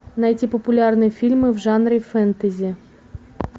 найти популярные фильмы в жанре фэнтези